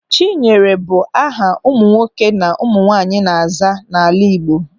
Chinyere bụ aha ụmụ nwoke na ụmụ nwaanyị na-aza n'ala Igbo.